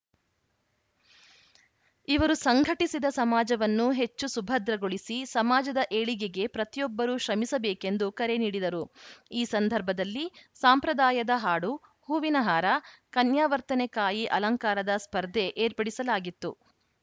ಇವರು ಸಂಘಟಿಸಿದ ಸಮಾಜವನ್ನು ಹೆಚ್ಚು ಸುಭದ್ರಗೊಳಿಸಿ ಸಮಾಜದ ಏಳಿಗೆಗೆ ಪ್ರತಿಯೊಬ್ಬರೂ ಶ್ರಮಿಸಬೇಕೆಂದು ಕರೆ ನೀಡಿದರು ಈ ಸಂದರ್ಭದಲ್ಲಿ ಸಾಂಪ್ರದಾಯದ ಹಾಡು ಹೂವಿನ ಹಾರ ಕನ್ಯಾವರ್ತನೆ ಕಾಯಿ ಅಲಂಕಾರದ ಸ್ಪರ್ಧೆ ಏರ್ಪಡಿಸಲಾಗಿತ್ತು